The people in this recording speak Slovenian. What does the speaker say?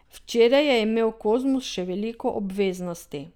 Včeraj je imel Kozmus še veliko obveznosti.